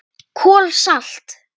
KOL SALT